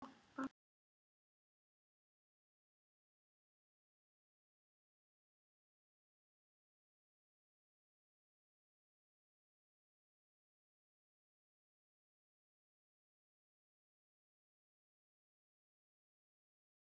Bráðum færu allir heim til sín.